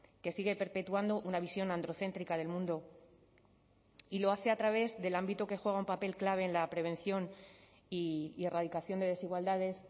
que sigue perpetuando una visión androcéntrica del mundo y lo hace a través del ámbito que juega un papel clave en la prevención y erradicación de desigualdades